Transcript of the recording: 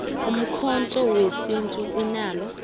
ikhotho yesintu linalo